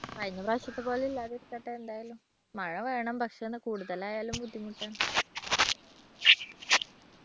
കഴിഞ്ഞ പ്രാവശ്യത്തെപ്പോലെ ഇല്ലാതിരിക്കട്ടെ എന്തായാലും മഴ വേണം പക്ഷേ അത് കൂടുതലായാലും ബുദ്ധിമുട്ടാണ്.